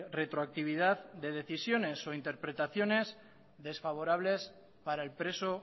retroactividad de decisiones o interpretaciones desfavorables para el preso